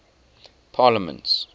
parliaments